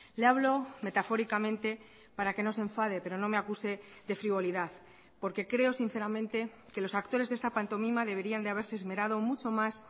le hablo metafóricamente para que no se enfade pero no me acuse de frivolidad porque creo sinceramente que los actores de esta pantomima deberían de haberse esmerado mucho más